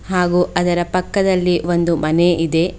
ಹಾಗೂ ಅದರ ಪಕ್ಕದಲ್ಲಿ ಒಂದು ಮನೆ ಇದೆ.